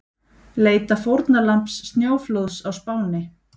Leita fórnarlambs snjóflóðs á Spáni